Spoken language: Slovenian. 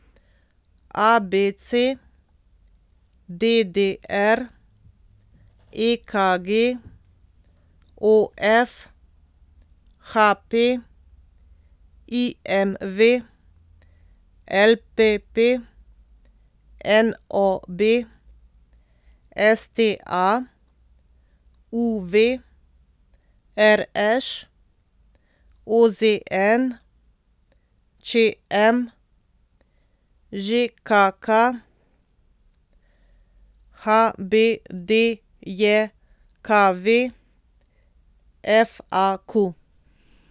A B C; D D R; E K G; O F; H P; I M V; L P P; N O B; S T A; U V; R Š; O Z N; Č M; Ž K K; H B D J K V; F A Q.